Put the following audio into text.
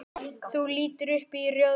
Þú lítur upp í rjóðri.